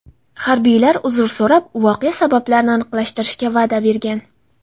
Harbiylar uzr so‘rab, voqea sabablarini aniqlashtirishga va’da bergan.